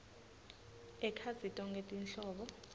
ekhatsi tonkhe tinhlobo